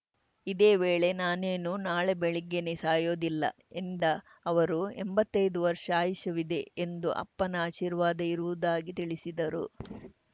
ಇದೇ ವೇಳೆ ನಾನೇನು ನಾಳೆ ಬೆಳಗ್ಗೆನೇ ಸಾಯೋದಿಲ್ಲ ಎಂದ ಅವರು ಎಂಬತ್ತೈದು ವರ್ಷ ಆಯುಷ್ಯವಿದೆ ಎಂದು ಅಪ್ಪನ ಆಶೀರ್ವಾದ ಇರುವುದಾಗಿ ತಿಳಿಸಿದರು